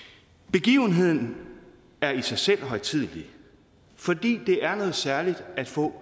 begivenheden er i sig selv højtidelig fordi det er noget særligt at få